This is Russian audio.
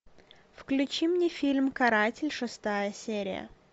включи мне фильм каратель шестая серия